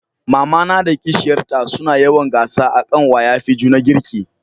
mamana da kishiyar ta su na yawan gasa a kan waya fi juna girki